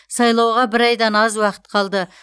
сайлауға бір айдан аз уақыт қалды